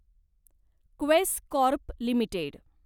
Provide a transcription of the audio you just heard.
Quess Corp limited